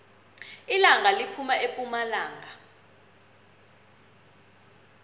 ilanga liphuma epumalanga